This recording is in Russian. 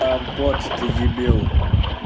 а бот ты дебил